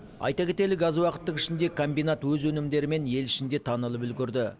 айта кетелік аз уақыттың ішінде комбинат өз өнімдерімен ел ішінде танылып үлгерді